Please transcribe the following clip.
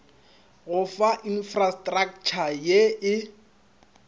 go fa infrastratšha ye e